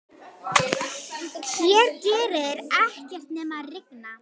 Hér gerir ekkert nema rigna.